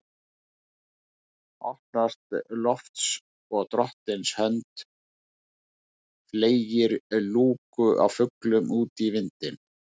Opnast loft og drottins hönd fleygir lúku af fuglum út í vindinn